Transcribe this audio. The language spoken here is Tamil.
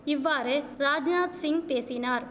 இவ்வாறு ராஜ்நாத்சிங் பேசினார்